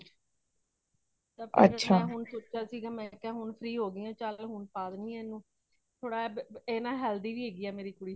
ਹੁਣ ਮੈ ਸੋਚਿਆਂ ,ਸੀ ਮੈ ਕਹੀਆਂ ਹੁਣ free ਹੋ ਗਈ ਹਾਂ ਚਾਲ ਹੁਣ ਪਾ ਦੇਨਿ ਆ ਏਨੂੰ ਕਿਉਂਕਿ ਇਹ ਥੋੜੀ healthy ਵੀ ਹੇਗੀ ਮੇਰੇ ਕੁੜੀ